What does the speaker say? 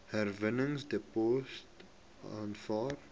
herwinningsdepots aanvaar